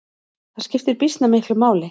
Það skiptir býsna miklu máli.